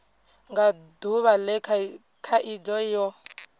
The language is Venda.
nga duvha le khaidzo yo